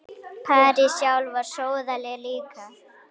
París sjálf var sóðaleg líka.